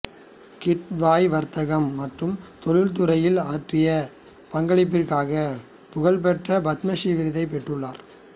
கிட்வாய் வர்த்தகம் மற்றும் தொழில் துறைகளில் ஆற்றிய பங்களிப்பிற்காக புகழ்பெற்ற பத்மஸ்ரீ விருதைப் பெற்றுள்ளார்